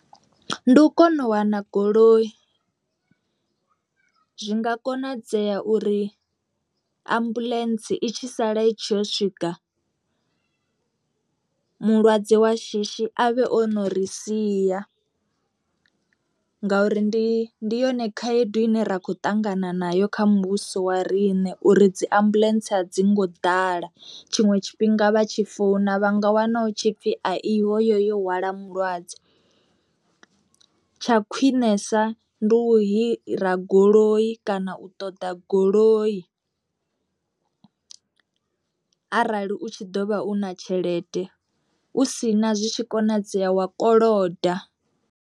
Ndi u kona u wana goloi, zwi nga konadzea uri ambuḽentse i tshi sala itshi yo swika mulwadze wa shishi avhe o no ri sia ngauri ndi ndi yone khaedu ine ra kho ṱangana nayo kha muvhuso wa riṋe uri dzi ambuḽentse a dzi ngo ḓala, tshiṅwe tshifhinga vha tshi founa vha nga wana hu tshipfi a iho yo hwala mulwadze. Tsha khwinesa ndi u hira goloi kana u ṱoḓa goloi arali u tshi ḓo vha u na tshelede u si na zwi tshi konadzea wa koloda.